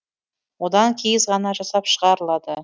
одан киіз ғана жасап шығарылады